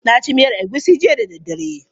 Na ci miyan egusi jiya da daddare.